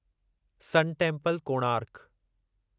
सन temple, Konark